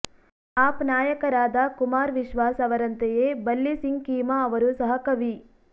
app ನಾಯಕರಾದ ಕುಮಾರ್ ವಿಶ್ವಾಸ್ ಅವರಂತೆಯೇ ಬಲ್ಲಿ ಸಿಂಗ್ ಕೀಮಾ ಅವರೂ ಸಹ ಕವಿ